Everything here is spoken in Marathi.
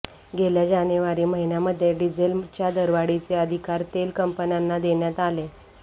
गेल्या जानेवारी महिन्यामध्ये डिझेलच्या दरवाढीचे अधिकार तेल कंपन्यांना देण्यात आले